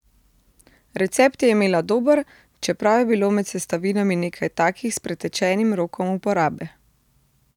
Recept je imela dober, čeprav je bilo med sestavinami nekaj takih s pretečenim rokom uporabe.